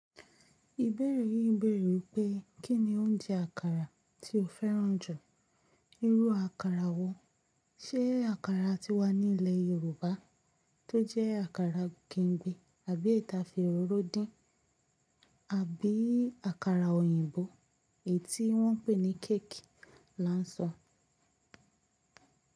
Ìbéèrè yín bèèrè pé kí ni oúnjẹ àkàrà tí o fẹ́ràn jù, irú àkàrà wo? Ṣé àkàrà tí wá nílẹ̀ Yorùbá tó jẹ́ àkàrà kemgbe àbí eyi ti a fi òróró dín, àbí àkàrà òyìnbó èyí tí wọ́n ń pè ní cake là ń sọ?